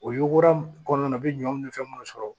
O yugura kɔnɔna na u bɛ ɲɔ ni fɛn minnu sɔrɔ